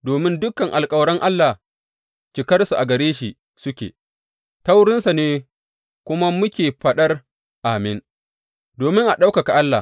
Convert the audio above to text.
Domin dukan alkawaran Allah cikarsu a gare shi suke, ta wurinsa ne kuma muke faɗar Amin, domin a ɗaukaka Allah.